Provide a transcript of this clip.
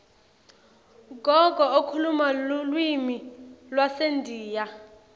gogo ukhuluma lulwimi lwasendiya